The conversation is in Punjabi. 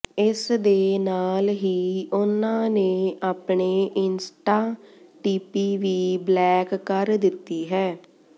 ਇਸ ਦੇ ਨਾਲ ਹੀ ਉਨ੍ਹਾਂ ਨੇ ਆਪਣੇ ਇੰਸਟਾ ਡੀਪੀ ਵੀ ਬਲੈਕ ਕਰ ਦਿੱਤੀ ਹੈ